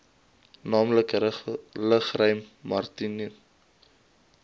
naamlik lugruim maritieme